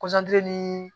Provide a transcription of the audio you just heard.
ni